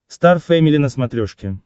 стар фэмили на смотрешке